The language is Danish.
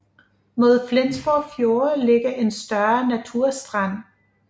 Mod Flensborg Fjord ligger en større naturstrand